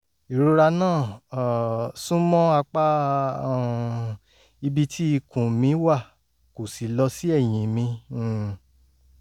ìrora náà um sún mọ́ apá um ibi tí ikùn mi wà kò sì lọ sí ẹ̀yìn mi um